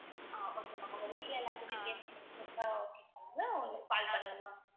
ஆஹ் okay ma'am உங்க வீட்ல எல்லார்கிட்டயுமே கேட்டுட்டு call பண்ணுங்க ma'am